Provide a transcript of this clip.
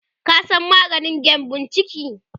ka San maganin gyambun ciki?